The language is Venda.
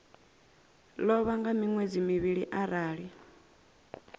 ḽavho nga miṅwedzi mivhili arali